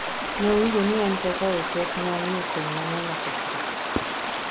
Nowinjo ni en kaka ochot nomiyo keny mang'eny okethre.